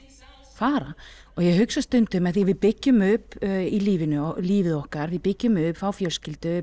fara og ég hugsa stundum af því að við byggjum upp í lífinu lífið okkar við byggjum upp fáum fjölskyldu